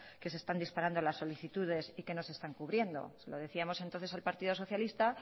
que se están disparando las solicitudes y que no se están cubriendo se lo decíamos entonces al partido socialista